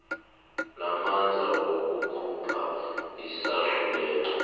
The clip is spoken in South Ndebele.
namandla wokukhupha isahlulelo